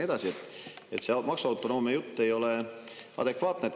Nii et see maksuautonoomia jutt ei ole adekvaatne.